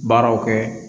Baaraw kɛ